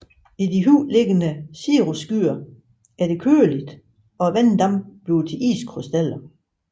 I de højt liggende cirrusskyer er det køligt og vanddamp bliver til iskrystaller